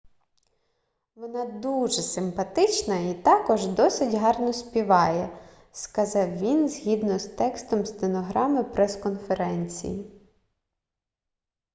вона дуже симпатична і також досить гарно співає - сказав він згідно з текстом стенограми прес-конференції